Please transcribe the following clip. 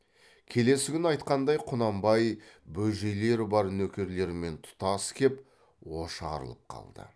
келесі күні айтқанындай құнанбай бөжейлер бар нөкерлерімен тұтас кеп ошарылып қалды